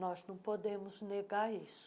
Nós não podemos negar isso.